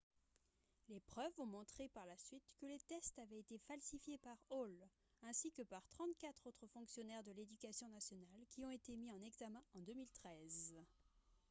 les preuves ont montré par la suite que les tests avaient été falsifiés par hall ainsi que par 34 autres fonctionnaires de l'éducation nationale qui ont été mis en examen en 2013